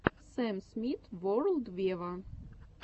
сэм смит ворлд вево